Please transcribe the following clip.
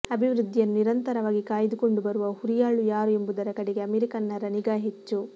ಅಭಿವೃದ್ಧಿಯನ್ನು ನಿರಂತರವಾಗಿ ಕಾಯ್ದುಕೊಂಡು ಬರುವ ಹುರಿಯಾಳು ಯಾರು ಎಂಬುದರ ಕಡೆಗೆ ಅಮೆರಿಕನ್ನರ ನಿಗಾ ಹೆಚ್ಚು